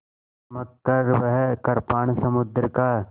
चमककर वह कृपाण समुद्र का